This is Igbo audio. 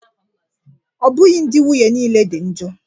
Ọ bụghị ndị nwunye niile dị njọ